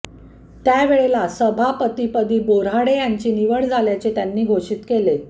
त्यावेळेला सभापतिपदी बोऱ्हाडे यांची निवड झाल्याचे त्यांनी घोषित केले